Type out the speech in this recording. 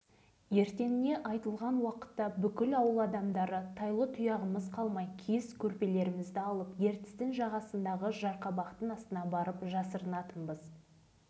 онда ертен сағат онда бәрің ауылдан шығып жыра-қалқаларды паналаңдар деген жазу болатыны әлі есімде